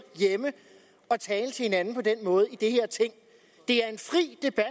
hjemme at tale til hinanden på den måde i det her ting det er en fri debat